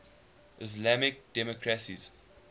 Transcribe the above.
islamic democracies